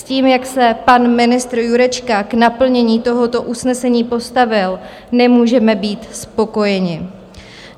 S tím, jak se pan ministr Jurečka k naplnění tohoto usnesení postavil, nemůžeme být spokojeni.